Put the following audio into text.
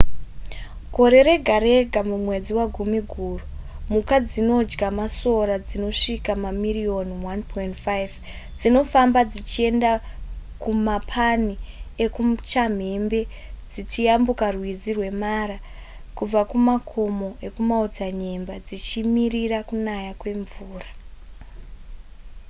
gore rega rega mumwedzi wagumiguru mhuka dzinodya masora dzinosvika mamiriyoni 1.5 dzinofamba dzichienda kumapani ekuchamhembe dzichiyambuka rwizi rwemara kubva kumakomo ekumaodzanyemba dzichimirira kunaya kwemvura